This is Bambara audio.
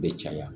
Bɛ caya